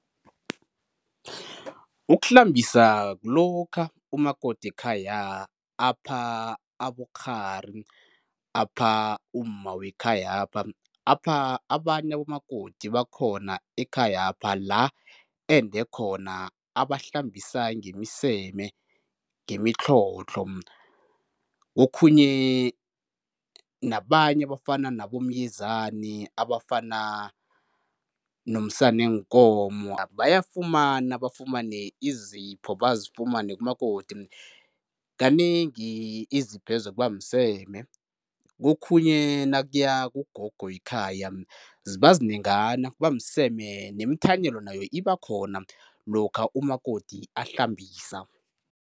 Ukuhlambisa kulokha umakoti wekhaya, apha abokghari, apha umma wekhayapha, apha abanye abomakoti bakhona ekhayapha, la ende khona abahlambisa ngemiseme, ngemitlhodlho kokhunye nabanye abafana nabomyezani, abafana nomsana weenkomo bayafumana, bafumane izipho bazifumane kumakoti. Kanengi iziphezo kuba mseme, kokhunye nakuya kugogo wekhaya ziba zinengana kuba mseme nemithanyelo nayo iba khona lokha umakoti ahlambisa.